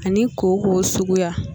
Ani kooko suguya